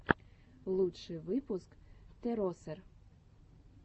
лучший выпуск теросер